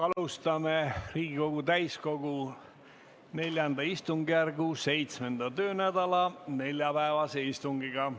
Alustame Riigikogu täiskogu IV istungjärgu seitsmenda töönädala neljapäevast istungit.